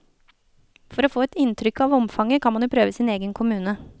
For å få et inntrykk av omfanget, kan man jo prøve sin egen kommune.